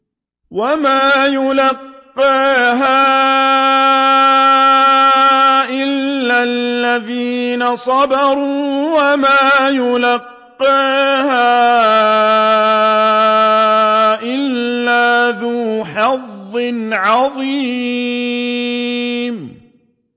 وَمَا يُلَقَّاهَا إِلَّا الَّذِينَ صَبَرُوا وَمَا يُلَقَّاهَا إِلَّا ذُو حَظٍّ عَظِيمٍ